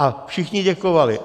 A všichni děkovali.